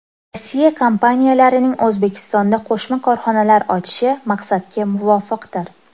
Rossiya kompaniyalarining O‘zbekistonda qo‘shma korxonalar ochishi maqsadga muvofiqdir.